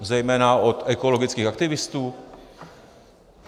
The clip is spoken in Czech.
Zejména od ekologických aktivistů?